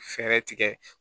Fɛɛrɛ tigɛ